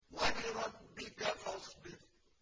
وَلِرَبِّكَ فَاصْبِرْ